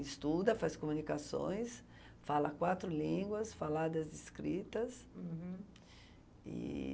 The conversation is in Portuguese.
Estuda, faz comunicações, fala quatro línguas, faladas escritas. Uhum. E...